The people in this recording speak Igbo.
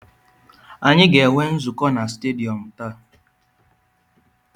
Anyị ga-enwe nzukọ na stadiyọm taa.